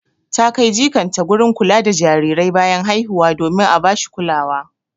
Ta kai jikanta gurin kula da jarirai bayan haihuwa domin a bashi kulawa.